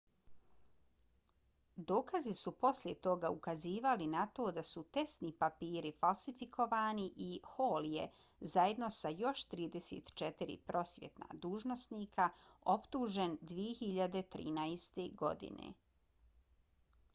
dokazi su poslije toga ukazivali na to da su testni papiri falsifikovani i hall je zajedno sa još 34 prosvjetna dužnosnika optužen 2013. godine